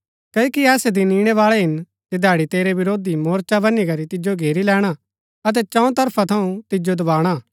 क्ओकि ऐसै दिन इणै बाळै हिन जधैड़ी तेरै विरोधी मोर्चा वनी करी तिजो घेरी लैणा अतै चौं तरफा थऊँ तिजो दवाणा